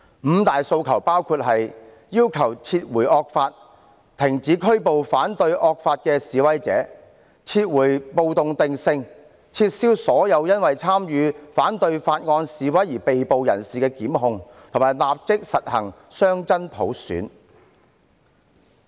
"五大訴求"包括要求撤回惡法、停止拘捕反對惡法的示威者、撤回暴動定性、撤銷所有因為參與反對法案示威而被捕人士的檢控，以及立即實行雙真普選。